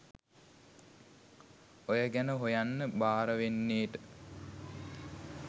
ඔය ගැන හොයන්න බාරවෙන්නේට